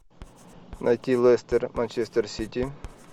найти лестер манчестер сити